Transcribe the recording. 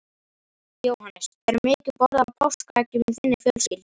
Jóhannes: Er mikið borðað af páskaeggjum í þinni fjölskyldu?